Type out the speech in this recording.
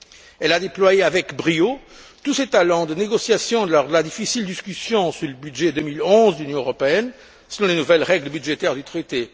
Elle a déployé avec brio tous ses talents de négociation lors de la difficile discussion sur le budget 2011 de l'Union européenne selon les nouvelles règles budgétaires du traité.